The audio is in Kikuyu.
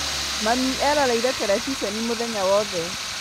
Mami eroreire terebiceni mũthenya wothe